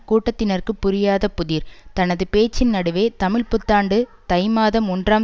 கூட்டத்தினருக்கு புரியாத புதிர் தனது பேச்சின் நடுவே தமிழ் புத்தாண்டு தை மாதம் ஒன்றாம்